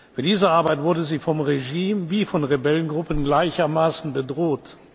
Für diese Arbeit wurde sie vom Regime und von Rebellengruppen gleichermaßen bedroht.